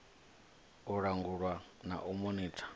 u langulwa na u monitha